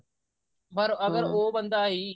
ਪਰ ਅਗਰ ਉਹ ਬੰਦਾ ਹੀ